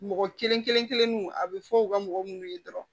Mɔgɔ kelen kelen kelennu a bɛ fɔ u ka mɔgɔ munnu ye dɔrɔn